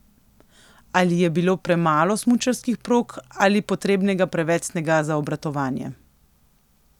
Ali je bilo premalo smučarskih prog ali potrebnega preveč snega za obratovanje.